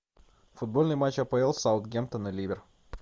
футбольный матч апл саутгемптон и ливер